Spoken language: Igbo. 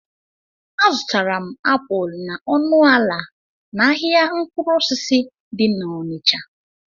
A zụtara m apụl na ọnụ ala n'ahịa mkpụrụ osisi dị n'Ọnịcha